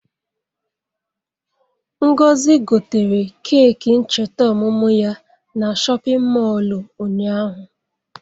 Ngozi gotere keeki ncheta ọmụmụ ya na shọpịn mọọlụ ụnyaahụ.